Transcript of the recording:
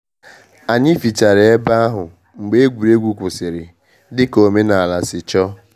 Anyị fichara ebe ahụ mgbe egwuregwu kwụsịrị, dị ka omenala si chọọ